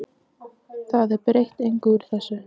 Það er breytir engu úr þessu.